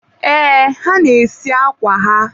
ee, ha na-esi akwa ha..